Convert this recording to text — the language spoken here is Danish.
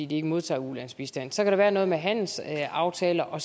de ikke modtager ulandsbistand så kan der være noget med handelsaftaler og